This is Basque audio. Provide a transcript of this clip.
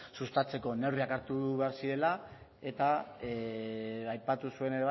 sustatzeko neurriak hartu behar zirela eta aipatu zuen